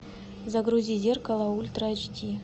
загрузи зеркало ультра эйч ди